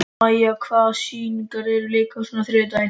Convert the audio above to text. Maj, hvaða sýningar eru í leikhúsinu á þriðjudaginn?